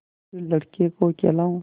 फिर लड़के को खेलाऊँ